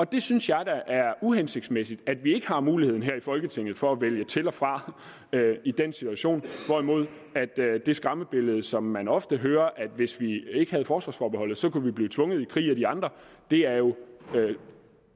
det synes jeg da er uhensigtsmæssigt at vi ikke har muligheden her i folketinget for at vælge til og fra i den situation det skræmmebillede som man ofte hører altså at hvis vi ikke havde forsvarsforbeholdet så kunne vi blive tvunget i krig af de andre er jo